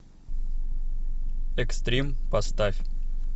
экстрим поставь